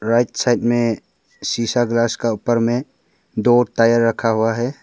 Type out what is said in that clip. Right side में शीशा glass का ऊपर में दो टायर रखा हुआ है।